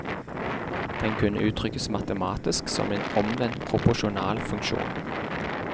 Den kunne uttrykkes matematisk, som en omvendt proporsjonal funksjon.